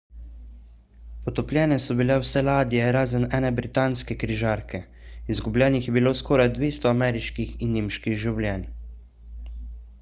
potopljene so bile vse ladje razen ene britanske križarke izgubljenih je bilo skoraj 200 ameriških in nemških življenj